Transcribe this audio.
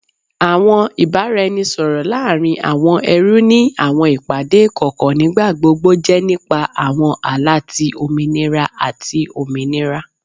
Awọn ibaraẹnisọrọ laarin awọn ẹrú ni awọn ipade ikọkọ nigbagbogbo jẹ nipa awọn ala ti ominira ati ominira